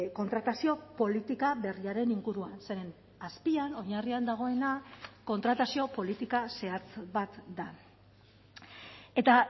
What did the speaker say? kontratazio politika berriaren inguruan zeren azpian oinarrian dagoena kontratazio politika zehatz bat da eta